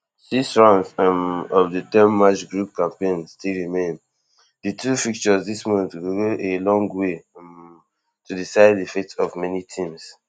six rounds um of di ten match group campaign still remain di two fixtures dis month go go a long way um to decide di fate of many teams